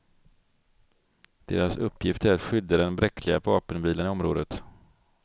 Deras uppgift är att skydda den bräckliga vapenvilan i området.